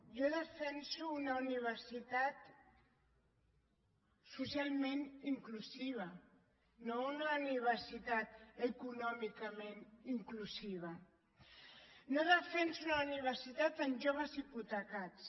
jo defenso una universitat socialment inclusiva no una universitat econòmicament inclusiva no defenso una universitat amb joves hipotecats